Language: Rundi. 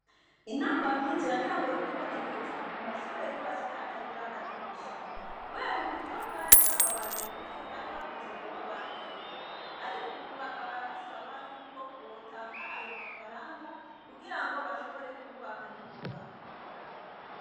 Intambamyi ziratanguye kwibonekeza ku mashure yubatswe atagira amadirisha. Kubera uburyo bwari bwababanye buke bari bavuze ko babangiriye, ariko ubu bakaba basaba yuko botanga ayo mafaranga, kugira ngo bashobore kwubaka n'ingoga.